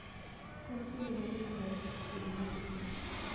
En kinde mane maber chako pidho nyithi gwen?